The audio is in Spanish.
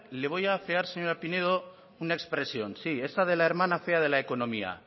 le voy a afear señora pinedo una expresión sí esa de la hermana fea de la economía